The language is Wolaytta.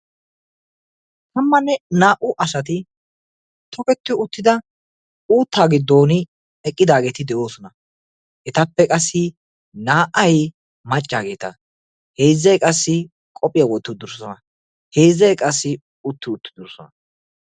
Tammanne naa"u asati toketti uttida uuttaa giddon eqqidaageti de'oosona. etappe qassi naa"ay maccaageta heezzay qassi qophphiyaa wotti uttidosona. heezzay qassi utti uttidosona.